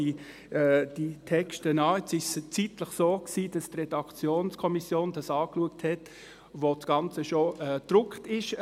Jetzt war es zeitlich so, dass die Redaktionskommission das Ganze angeschaut hat, als das Ganze schon gedruckt war.